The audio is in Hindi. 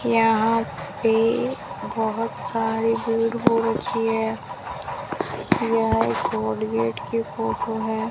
यहां पे बहुत सारी धूल हो रखी है यह कोलगेट की फोटो है।